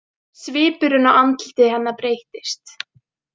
Svipurinn á andliti hennar breyttist.